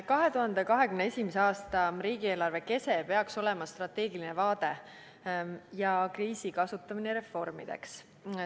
2021. aasta riigieelarve kese peaks olema strateegiline vaade ja kriisi kasutamine reformideks.